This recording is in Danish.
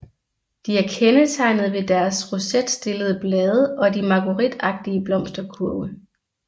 De er kendetegnet ved deres rosetstillede blade og de margueritagtige blomsterkurve